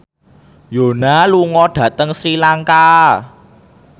Yoona lunga dhateng Sri Lanka